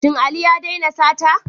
Shin Ali ya daina sata?